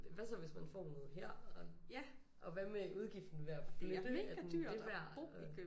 Hvad så hvis man får noget her og og hvad med udgiften ved at flytte er den det værd og